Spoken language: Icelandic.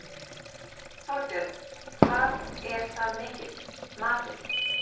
Þorbjörn: Hvað er það mikið, matið?